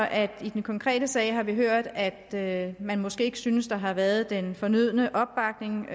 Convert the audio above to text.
at vi i den konkrete sag har hørt at man måske ikke synes at der har været den fornødne opbakning